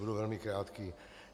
Budu velmi krátký.